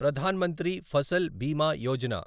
Pradhan Mantri Fasal Bima Yojana